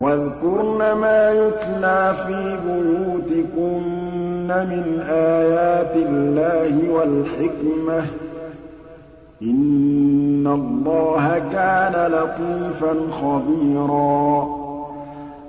وَاذْكُرْنَ مَا يُتْلَىٰ فِي بُيُوتِكُنَّ مِنْ آيَاتِ اللَّهِ وَالْحِكْمَةِ ۚ إِنَّ اللَّهَ كَانَ لَطِيفًا خَبِيرًا